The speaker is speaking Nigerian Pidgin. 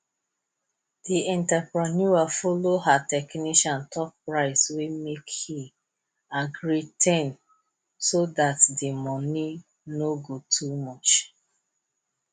di entrepreneur follow her technician talk price make he gree ten so dat di money no go too much